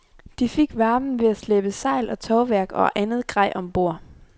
De fik varmen ved at slæbe sejl og tovværk og andet grej om bord.